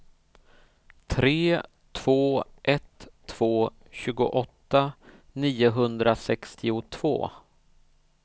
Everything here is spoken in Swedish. tre två ett två tjugoåtta niohundrasextiotvå